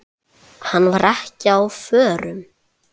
Hann var ekki á förum.